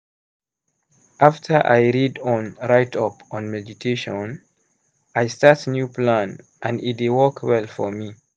after i read on write up on meditation i start new plan and e dey work well for me.